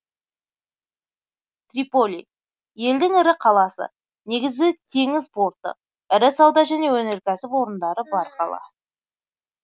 триполи елдің ірі қаласы негізгі теңіз порты ірі сауда және өнеркәсіп орындары бар қала